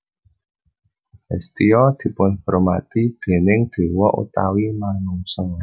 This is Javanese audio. Hestia dipunhormati déning dewa utawi manungsa